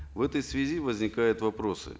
в этой связи возникают вопросы